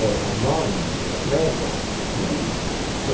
É, é norma, é regra, é lei.